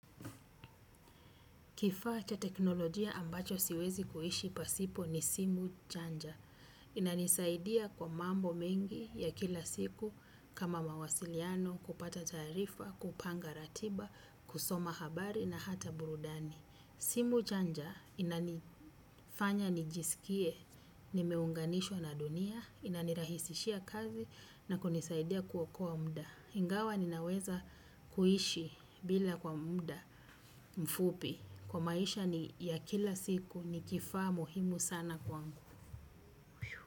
Kifaa cha teknolojia ambacho siwezi kuishi pasipo ni simu chanja. Inanisaidia kwa mambo mengi, ya kila siku, kama mawasiliano, kupata taarifa, kupanga ratiba, kusoma habari na hata burudani. Timu chanja, inanifanya nijisikie nimeunganishwa na dunia, inanirahisishia kazi na kunisaidia kuokoa mda. Ingawa ninaweza kuishi bila kwa muda mfupi. Kwa maisha ni ya kila siku, ni kifaa muhimu sana kwa.